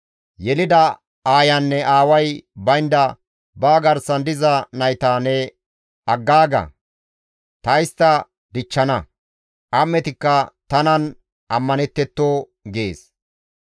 «Yelida aayanne aaway baynda ne garsan diza nayta ne aggaaga; ta istta dichchana; am7etikka tanan ammanettetto» gees.